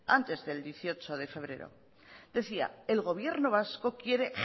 antes del dieciocho de febrero decía el gobierno vasco quiere